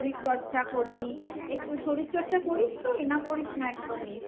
শরীরচর্চা করলি। শরীরচর্চা করিস তুই না করিস না একদমই ?